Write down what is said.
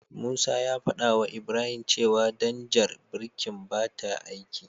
Musa ya fadawa Ibrahim cewa danjar birkin bata aiki.